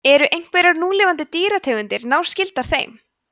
eru einhverjar núlifandi dýrategundir náskyldar þeim